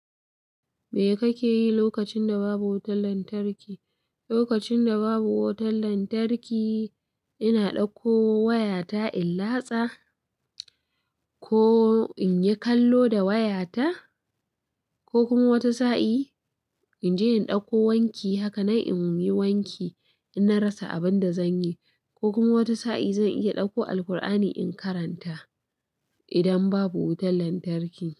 Me kake yi lokacin da babu wutar lantarki? Lokacin da babu wutar lantarki, ina ɗauko wayata in latsa ko in yi kallo da wayata ko kuma wata sa'in in je in ɗauko wanki. Haka nan in yi wanki in na rasa abin da zan yi. Ko kuma wata sa'in zan iya ɗauko Alqur'ani in karanta idan babu wutar lantarki.